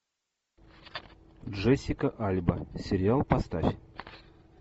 джессика альба сериал поставь